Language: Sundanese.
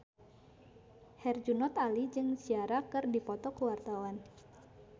Herjunot Ali jeung Ciara keur dipoto ku wartawan